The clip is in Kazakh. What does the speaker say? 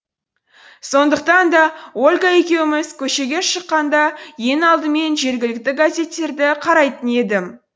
сондықтан да ольга екеуміз көшеге шыққанда ең алдымен жергілікті газеттерді қарайтын едім